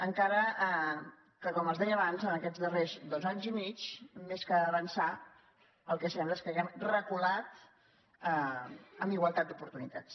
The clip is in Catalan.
encara que com els deia abans en aquests darrers dos anys i mig més que avançar el que sembla és que hàgim reculat en igualtat d’oportunitats